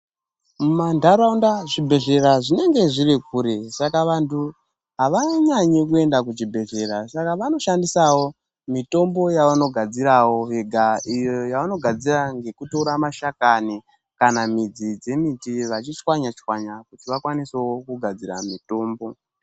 Mumantaraunda zvibhedhlera zvinonge zviri kure, vantu avanyanyi kuende kuzvibhedhlera saka vano shandisawo mitombo yavano gadzirawo vega, iyo yavanobgadzira ngekutore mashakani kana midzi dzemiti vachichwaya chwanya kuti vakwanisewo kugadzira mitombo.